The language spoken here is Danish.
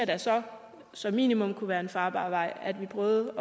da så som minimum det kunne være en farbar vej at vi prøvede